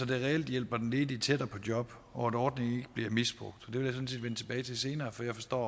det reelt hjælper den ledige tættere på job og at ordningen ikke bliver misbrugt det vil tilbage til senere for jeg forstår